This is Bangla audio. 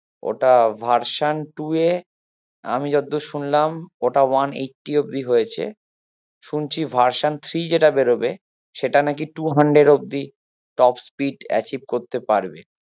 ওটা version two এর অমি যতদুর সুনলাম, ওটা one eighty অব্দি হয়েছে শুনছি version three যেটা বেরোবা, সেটা নাকি two hundred অবধি top speed achieve করতে পারবে